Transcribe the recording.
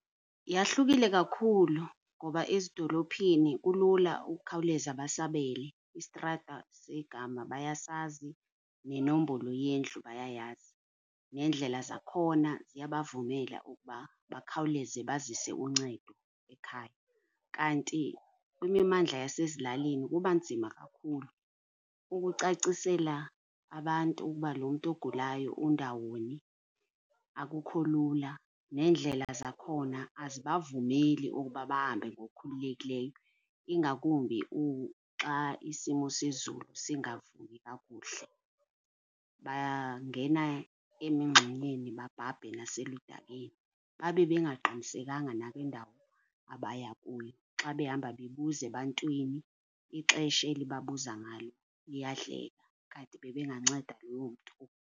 Yahlukile kakhulu ngoba ezidolophini kulula ukukhawuleza basabele, istrata segama bayasazi nenombolo yendlu bayayazi, neendlela zakhona ziyabavumela ukuba bakhawuleze bazise uncedo ekhaya. Kanti kwimimandla yasezilalini kuba nzima kakhulu, ukucacisela abantu ukuba lo mntu ogulayo undawoni akukho lula, neendlela zakhona azibavumeli ukuba bahambe ngokukhululekileyo, ingakumbi xa isimo sezulu singavumi kakuhle. Bayangena emingxunyeni babhabhe naseludakeni, babe bengaqinisekanga nangendawo abaya kuyo, xa behamba bebuza ebantwini ixesha eli babuza ngalo liyadleka, kanti bebenganceda loo mntu.